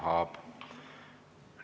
Tahab.